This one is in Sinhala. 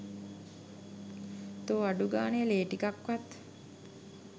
තෝ අඩුගානේ ලේ ටිකක්වත්